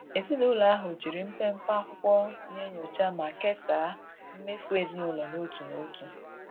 Ezinụlọ ahụ jiri mpepe akwụkwọ na-enyocha ma kesaa mmefu ezinụlọ n'otu n'otu.